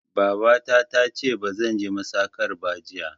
Babata tace bazan je masakar ba jiya